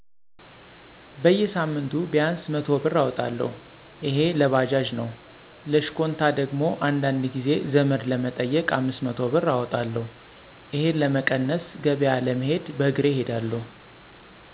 በጌሳምንቱ ቢያንስ 100ብር እወጣለሁ እሄ ለባጃጅ ነው ለሽኳንታ ደግሞ አንዳንድ ጊዜ ዘመድ ለመጠየቅ 500 ብር አወጣለሁ። እሄን ለመቀነስ ገበያ ለመሄድ በእሬ እሄዳለሁ።